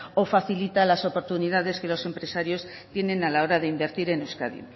o facilita las oportunidades que los empresarios tienen a la hora de invertir en euskadi